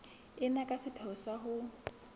ena ka sepheo sa ho